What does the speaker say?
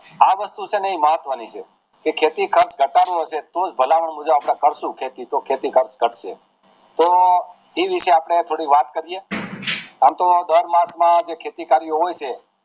આ વસ્તુ છે ને એ મહત્વ ની છે કે ખેતી ખર્ચ ઘટાડવો છે તો ભલામણ મુજબ કરશું તો ખેતી ખર્ચ ઘટશે તો એ વિષે અપડે થોડી વાત કરીએ આમ તો દર માસ માં જે ખેતી કાર્ય હોય છે